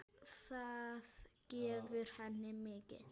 Það gefur henni mikið.